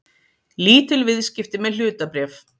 Lítil viðskipti með hlutabréf